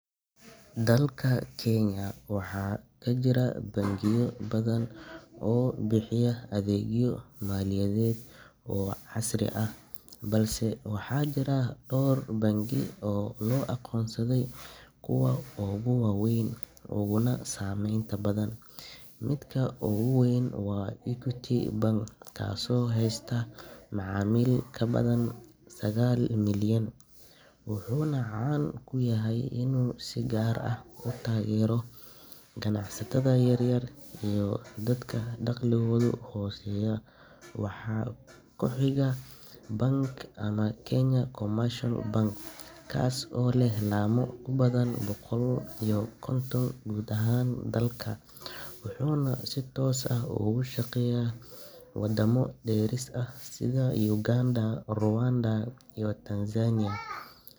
i qof u noqdo voter sharci ah, waxaa muhiim ah inuu haysto dukumentiyo gaar ah oo lagu xaqiijinayo aqoonsigiisa iyo u-qalmidiisa doorasho. Marka ugu horreysa, qofka waa inuu haystaa national ID ama baasaboorka rasmiga ah ee dalka uu ka yahay muwaadin. Dukumentigan ayaa muujinaya magaca buuxa, taariikhda dhalashada iyo jinsiyadda. Tusaale ahaan, Kenya gudaheeda, qofka waa inuu yahay muwaadin Kenyan ah oo gaaray da’da siddeed iyo toban sano si uu isugu diiwaangeliyo codbixinta. Marka la tagayo goobta diiwaangelinta, waxaa sidoo kale lagaaga baahan yahay in aad bixiso faahfaahin sida cinwaankaaga, lambarka taleefanka, iyo degmada aad rabto inaad ka codbixiso. Hay’adaha doorashada sida IEBC waxay isticmaalaan nidaam digital ah